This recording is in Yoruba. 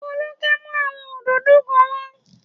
Folúkẹ́ mú àwọn òdòdó kan wá